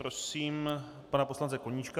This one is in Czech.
Prosím pana poslance Koníčka.